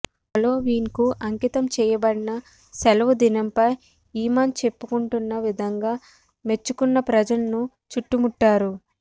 హాలోవీన్కు అంకితం చేయబడిన సెలవుదినంపై ఇమాన్ చెప్పుకుంటున్న విధంగా మెచ్చుకున్న ప్రజలను చుట్టుముట్టారు